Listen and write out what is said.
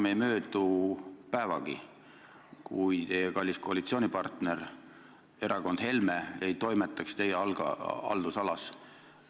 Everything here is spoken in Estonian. Enam ei möödu päevagi, kui teie kallis koalitsioonipartner erakond Helme ei toimetaks teie haldusalas.